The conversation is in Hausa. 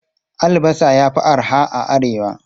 Albasa ya fi arha a Arewa.